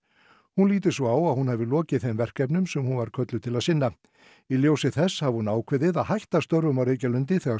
hún líti svo á að hún hafi lokið þeim verkefnum sem hún var kölluð til að sinna í ljósi þess hafi hún ákveðið að hætta störfum á Reykjalundi þegar